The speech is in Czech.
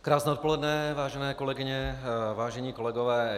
Krásné odpoledne, vážené kolegyně, vážení kolegové.